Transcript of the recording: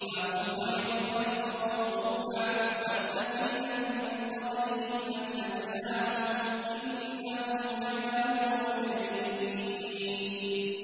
أَهُمْ خَيْرٌ أَمْ قَوْمُ تُبَّعٍ وَالَّذِينَ مِن قَبْلِهِمْ ۚ أَهْلَكْنَاهُمْ ۖ إِنَّهُمْ كَانُوا مُجْرِمِينَ